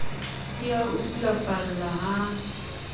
di a o sulafalla ha